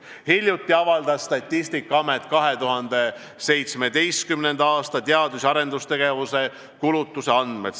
Hiljuti avaldas Statistikaamet 2017. aasta teadus- ja arendustegevuse kulutuste andmed.